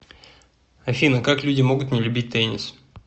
афина как люди могут не любить теннис